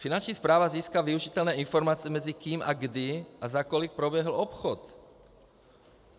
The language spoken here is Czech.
Finanční správa získá využitelné informace mezi kým, kdy a za kolik proběhl obchod.